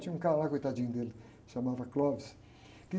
Tinha um cara lá, coitadinho dele, se chamava.